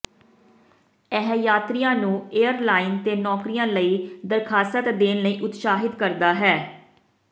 ਇਹ ਯਾਤਰੀਆਂ ਨੂੰ ਏਅਰ ਲਾਈਨ ਤੇ ਨੌਕਰੀਆਂ ਲਈ ਦਰਖਾਸਤ ਦੇਣ ਲਈ ਉਤਸ਼ਾਹਿਤ ਕਰਦਾ ਹੈ